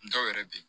Dɔw yɛrɛ bɛ yen